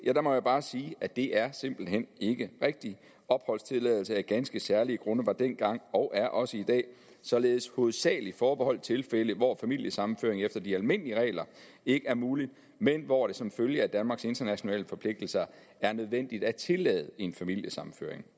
må jeg bare sige at det er simpelt hen ikke rigtigt opholdstilladelse af ganske særlige grunde var dengang og er også i dag således hovedsagelig forbeholdt tilfælde hvor familiesammenføring efter de almindelige regler ikke er mulig men hvor det som følge af danmarks internationale forpligtelser er nødvendigt at tillade en familiesammenføring